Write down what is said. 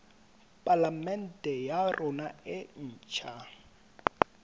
palamente ya rona e ntjha